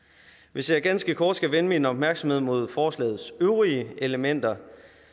hvis jeg ganske kort skal vende min opmærksomhed mod forslagets øvrige elementer